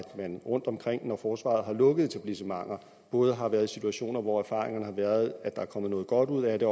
at man rundtomkring hvor forsvaret har lukket etablissementer både har været i situationer hvor erfaringerne har været at der er kommet noget godt ud af det